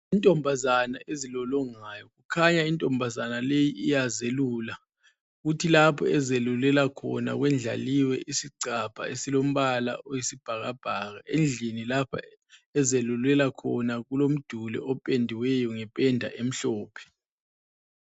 Intombazana ezilolongayo, kukhanya intombazana leyi iyazelula, kuthi lapho ezelulela khona kwendlaliwe isigcabha esilombala oyisibhakabhaka. Endlini lapho ezelulela khona kulomduli opendiweyo ngependa emhlophe.